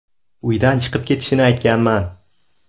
Uydan chiqib ketishini aytganman.